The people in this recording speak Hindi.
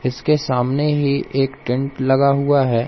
इसके सामने ही एक टेंट लगा हुआ है।